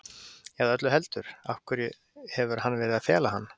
Eða öllu heldur, af hverju hefur hann verið að fela hann?